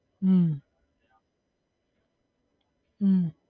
હમ હમ